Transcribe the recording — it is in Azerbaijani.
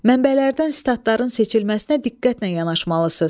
Mənbələrdən sitatların seçilməsinə diqqətlə yanaşmalısınız.